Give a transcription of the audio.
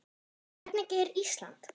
Hvernig er Ísland?